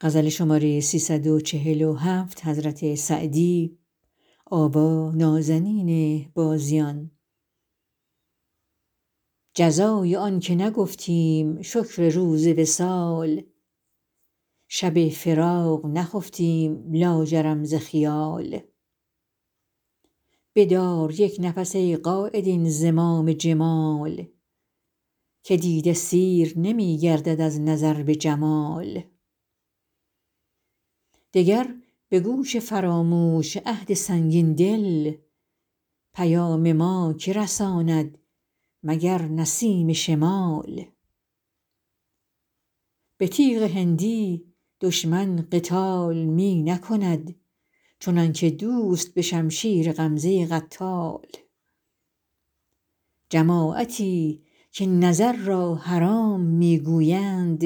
جزای آن که نگفتیم شکر روز وصال شب فراق نخفتیم لاجرم ز خیال بدار یک نفس ای قاید این زمام جمال که دیده سیر نمی گردد از نظر به جمال دگر به گوش فراموش عهد سنگین دل پیام ما که رساند مگر نسیم شمال به تیغ هندی دشمن قتال می نکند چنان که دوست به شمشیر غمزه قتال جماعتی که نظر را حرام می گویند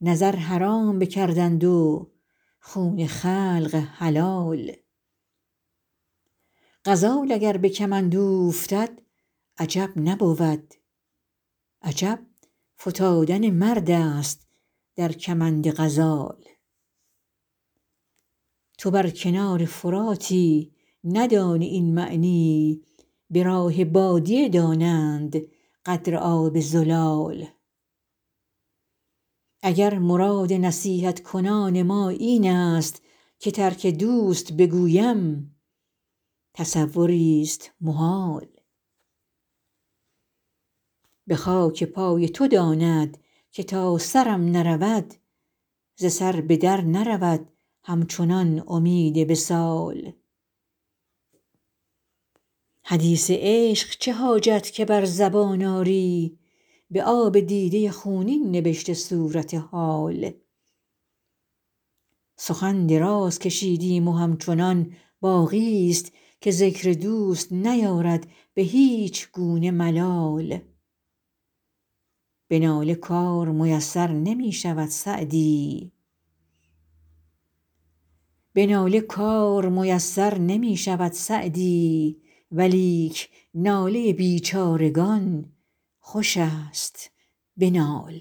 نظر حرام بکردند و خون خلق حلال غزال اگر به کمند اوفتد عجب نبود عجب فتادن مرد است در کمند غزال تو بر کنار فراتی ندانی این معنی به راه بادیه دانند قدر آب زلال اگر مراد نصیحت کنان ما این است که ترک دوست بگویم تصوریست محال به خاک پای تو داند که تا سرم نرود ز سر به در نرود همچنان امید وصال حدیث عشق چه حاجت که بر زبان آری به آب دیده خونین نبشته صورت حال سخن دراز کشیدیم و همچنان باقیست که ذکر دوست نیارد به هیچ گونه ملال به ناله کار میسر نمی شود سعدی ولیک ناله بیچارگان خوش است بنال